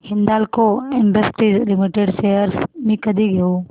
Hindalco industries limited shares मी कधी घेऊ